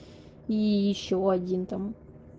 и ещё один там